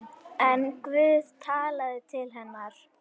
En Guð talaði til hennar.